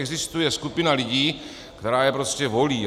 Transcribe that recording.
Existuje skupina lidí, kteří je prostě volí.